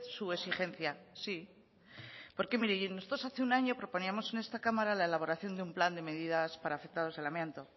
su exigencia sí porque mire nosotros hace un año proponíamos en esta cámara la elaboración de un plan de medidas para afectados del amianto